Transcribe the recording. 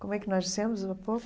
Como é que nós dissemos há pouco?